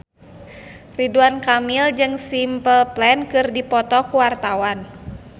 Ridwan Kamil jeung Simple Plan keur dipoto ku wartawan